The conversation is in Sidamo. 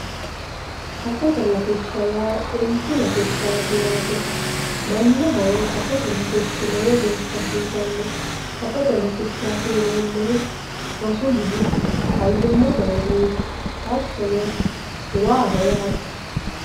safote latishsha yaa xintu latishshaati yaate mannaho safote latishshi lowo geesha hasiisanno safote latishshaati yineemohu rosu mini, fayyimate uurinsha hattono waaho yaate